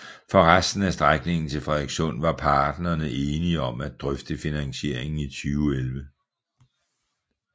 For resten af strækningen til Frederikssund var parterne enige om at drøfte finansieringen i 2011